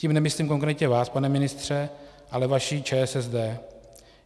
Tím nemyslím konkrétně vás, pane ministře, ale vaši ČSSD.